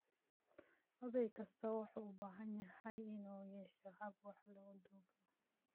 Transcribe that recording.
Oday kastaa wuxuu u baahan yahay inuu yeesho hab wax lagu duubo.